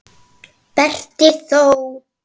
Berti þó!